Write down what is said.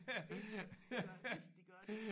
Hvis de gør det hvis de gør det